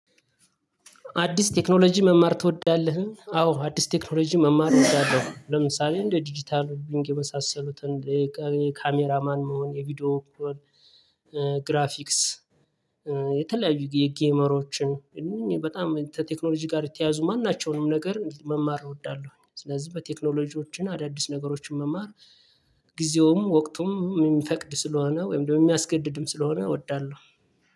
አዲስ ቴክኖሎጂ መማር ትወዳለህ? አዎ አዲስ ቴክኖሎጂ መማር እወዳለሁ። ለምሳሌ እንደ ዲጂታል ቢንግ የመሳሰሉትን ካሜራማን መሆን የቪዲዮ ክሮል ግራፊክስ። የተለያዩ የጌመሮችን እንን በጣም ቴክኖሎጂ ጋር የተያዙ ማን ናቸውንም ነገር መማር እወዳለሁኝ። ስለዚህ በቴክኖሎጂዎችን አዳዲስ ነገሮችን መማር ጊዜውም ወቅቱም የሚፈቅድ ስለሆነ ወይም ደግሞ የሚያስገድድም ስለሆነ እወዳለሁ።